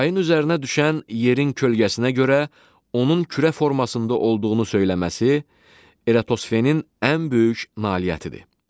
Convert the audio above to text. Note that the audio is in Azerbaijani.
Ayın üzərinə düşən yerin kölgəsinə görə onun kürə formasında olduğunu söyləməsi Eratosfenin ən böyük nailiyyətidir.